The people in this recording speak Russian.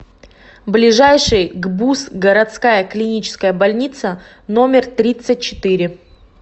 ближайший гбуз городская клиническая больница номер тридцать четыре